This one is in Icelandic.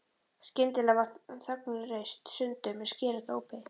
Skyndilega var þögnin rist sundur með skerandi ópi.